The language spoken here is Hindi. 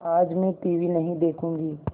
आज मैं टीवी नहीं देखूँगी